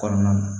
Kɔnɔna na